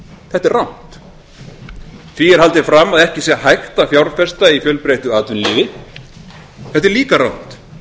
þetta er rangt því er haldið fram að ekki sé hægt að fjárfesta í fjölbreyttu atvinnulífi þetta er líka rangt